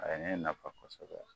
A ye ne nafa fa kosɛbɛ